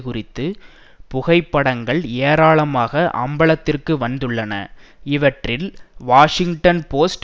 குறித்து புகைப்படங்கள் ஏராளமாக அம்பலத்திற்கு வந்துள்ளன இவற்றில் வாஷிங்டன் போஸ்ட்